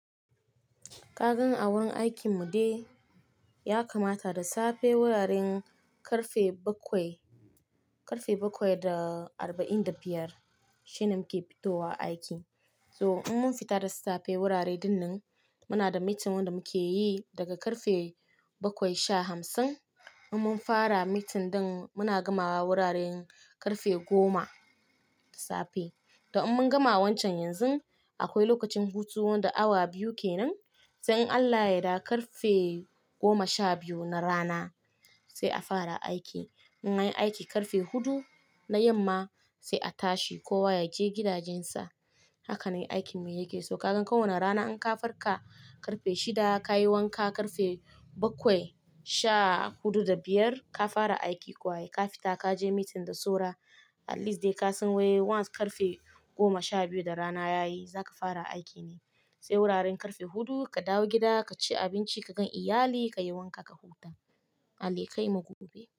Kagan aworin aikin mu dai ya kamata da safe wuraren karfe bakwai-- karfe bakwai da arba'in da biyar shine muke fitowa aiki. So in mun fita da safe wurare dinnan muna da meeting wanda muke yi daga karfe bakwai sha hamsin. In mun fara meeting din muna gamawa wuraren karfe goma da safe. Da in mun gama wancan yanzu akwai lokacin hutu wanda awa biyu kenan. In Allah yadda karfe goma sha biyu na rana sai a fara aiki. In anyi aiki karfe hudu na yamma sai a tashi kowa ya je gidajensa. Haka ne aikin mu yake. So kagan kowane rana in ka farka karfe shida ka yi wanka karfe bakwai sha hudu da biyar, ka fara aiki kuwa kai. Ka fita ka je meeting da saura at least dai ka san waye wance karfe goma sha biyu da rana yayi za ka fara aiki ne. Sai wuraren karfe hudu ka dawo gida ka ci abinci, ka gan iyalai ka yi wanka ka huta. Allah kai mu gobe.